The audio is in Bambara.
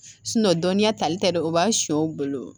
dɔnniya tali tɛ dɛ o b'a sɛnw bolo